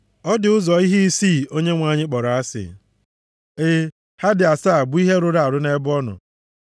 Ọ dị ụzọ ihe isii Onyenwe anyị kpọrọ asị, e, ha dị asaa bụ ihe arụ nʼebe ọ nọ.